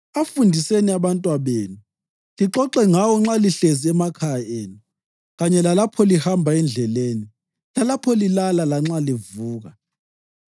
Afundiseni abantwabenu, lixoxe ngawo nxa lihlezi emakhaya enu kanye lalapho lihamba endleleni, lapho lilala lanxa livuka.